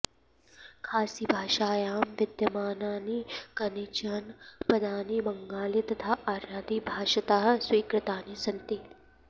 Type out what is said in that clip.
खासिभाषायां विद्यमानानि कानिचन पदानि बङ्गालि तथा आर्यादि भाषातः स्वीकृतानि सन्ति